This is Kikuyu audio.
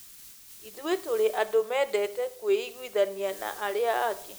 Ithuĩ tũrĩ andũ mendete kũiguithania na arĩa angĩ.